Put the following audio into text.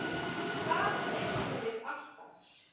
Það fengum við alltaf.